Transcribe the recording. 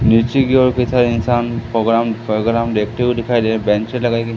नीचे की ओर कई सारे इंसान प्रोग्राम प्रोग्राम देखते हुए दिखाई दे रहे बेचें लगाई गई--